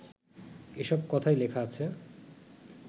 এসব কথাই লেখা আছে